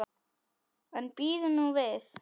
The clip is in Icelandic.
En bíðum nú við.